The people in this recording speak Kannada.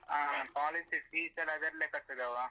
College fees ಎಲ್ಲ ಅದ್ರಲ್ಲೇ ಕಟ್ಟುದವ.